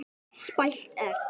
Spælt egg.